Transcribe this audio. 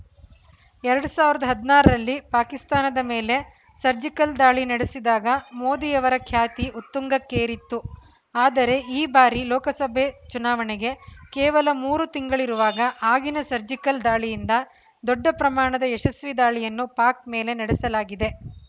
ಎರಡ್ ಸಾವಿರದ ಹದಿನಾರರಲ್ಲಿ ಪಾಕಿಸ್ತಾನದ ಮೇಲೆ ಸರ್ಜಿಕಲ್‌ ದಾಳಿ ನಡೆಸಿದಾಗ ಮೋದಿಯವರ ಖ್ಯಾತಿ ಉತ್ತುಂಗಕ್ಕೇರಿತ್ತು ಆದರೆ ಈ ಬಾರಿ ಲೋಕಸಭೆ ಚುನಾವಣೆಗೆ ಕೇವಲ ಮೂರು ತಿಂಗಳಿರುವಾಗ ಆಗಿನ ಸರ್ಜಿಕಲ್‌ ದಾಳಿಗಿಂತ ದೊಡ್ಡ ಪ್ರಮಾಣದ ಯಶಸ್ವಿ ದಾಳಿಯನ್ನು ಪಾಕ್‌ ಮೇಲೆ ನಡೆಸಲಾಗಿದೆ